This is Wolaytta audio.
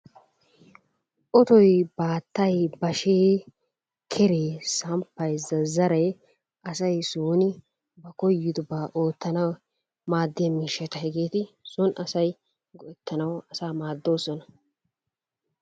Otoy, baattay, bashshee, keree, samppay, zazzaree asay soon ba koyyidooba oottanaw maaddiyaa miishshaata. Hegeeti soon asay go''ettanawu asaa maaddoosona.